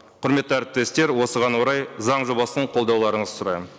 құрметті әріптестер осыған орай заң жобасын қолдауларыңызды сұраймын